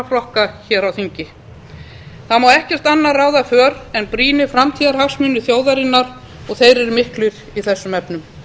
flokka hér á þingi þar má ekkert annað ráða för en brýnir framtíðarhagsmunir þjóðarinnar og þeir eru miklir í þessum efnum